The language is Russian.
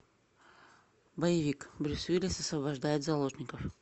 боевик брюс уиллис освобождает заложников